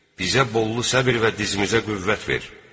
bizə bollu səbr və dizimizə qüvvət ver!